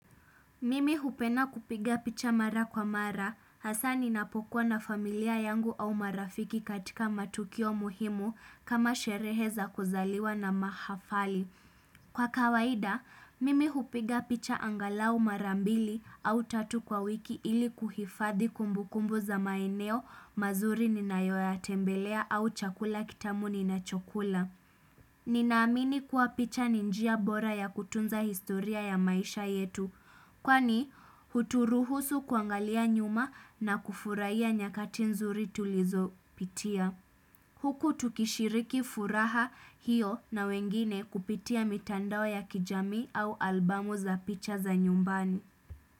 Mimi hupenda kupiga picha mara kwa mara, hasa ninapokuwa na familia yangu au marafiki katika matukio muhimu kama sherehe za kuzaliwa na mahafali. Kwa kawaida, mimi hupiga picha angalau mara mbili au tatu kwa wiki ili kuhifadhi kumbu kumbu za maeneo mazuri ninayoya tembelea au chakula kitamu ninachokula. Ninaamini kuwa picha ni njia bora ya kutunza historia ya maisha yetu. Kwani, huturuhusu kuangalia nyuma na kufurahia nyakati nzuri tulizo pitia. Huku tukishiriki furaha hiyo na wengine kupitia mitandao ya kijami au albamu za picha za nyumbani.